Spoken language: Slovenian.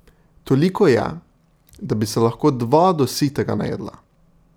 Toliko je, da bi se lahko dva do sitega najedla.